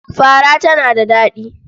Fara tana da daɗi.